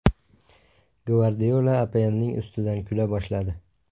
Gvardiola APLning ustidan kula boshladi.